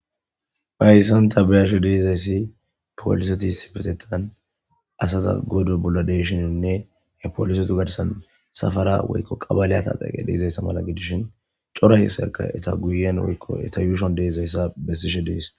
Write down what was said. Phayssanta bayarshe deezayssi poliseti sifetetan asaza godo bolla deyshininne he polisetu gadasan safara woykko qabaley ataxeqe deizayssa mala gidishin cora hesaka eta guyen woykko eta yuushon deezayssa bessishe dees